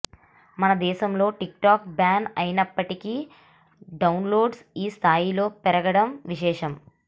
మనదేశంలో TikTok ban అయినప్పటికీ డౌన్ లోడ్లు ఈ స్థాయిలో పెరగడం విశేషం